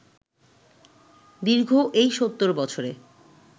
দীর্ঘ এই ৭০ বছরে